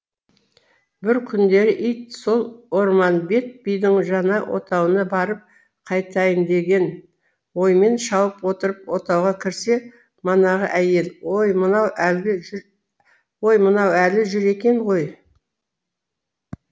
бір күндері ит сол орманбет бидің жаңа отауына барып қайтайын деген оймен шауып отырып отауға кірсе манағы әйел ой мынау әлі жүр екен ғой